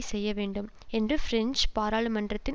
செய்யவேண்டும் என்ற பிரெஞ்சு பாராளுமன்றத்தின்